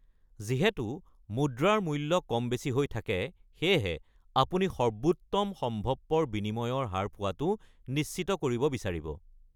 যিহেতু মুদ্ৰাৰ মূল্য কম-বেছি হৈ থাকে, সেয়েহে আপুনি সৰ্বোত্তম সম্ভৱপৰ বিনিময়ৰ হাৰ পোৱাটো নিশ্চিত কৰিব বিচাৰিব।